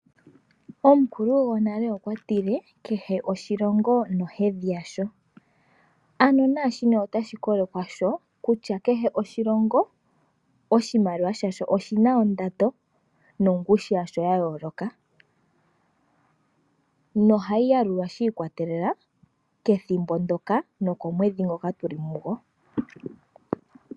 Omukulu gonale okwa tile kehe oshilongo nohedhi yasho, ano na shino otashi kolekwa kwasho kutya kehe oshilongo oshimaliwa shasho oshina ondando nongushu yasho ya yoloka. Noha yi yalulwa shi ikwatelela kethimbo ndyoka nokomwedhi ngoka tuli mugo.